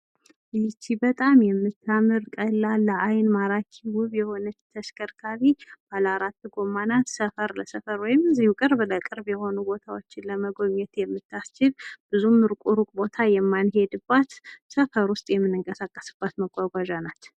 ይቺ በጣም የምታምር ቀላል ለአይን ማራኪ ውብ የሆነች ተሽከርካሪ ባለ አራት ጎማ ናት ሰፈር ለሰፈር ወይም ቅርብ ለቅርብ የሆኑ ቦታዎችን ለመጎብኘት የምታስችል ብዙም እሩቅ ቦታ የማንሄድባት ሰፈር ውስጥ የምንቀሳቀስባት መጓጓዣ ናት።